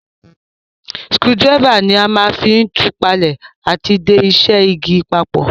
Screwdriver ni a ma n fi tù palẹ́ àti de isẹ́ igi papò